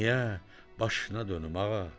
Niyə, başına dönüm ağa?